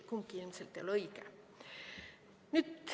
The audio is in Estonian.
Kumbki ilmselt ei ole õige.